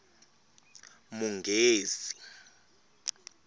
munghezi